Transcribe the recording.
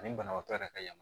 Ani banabaatɔ yɛrɛ ka yama